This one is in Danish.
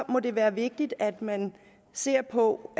må det være vigtigt at man ser på